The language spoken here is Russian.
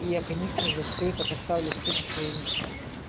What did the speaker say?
и я конечно же всё это поставлю всё на свои места